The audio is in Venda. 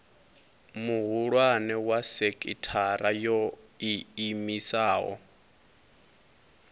muhulwane wa sekithara yo iimisaho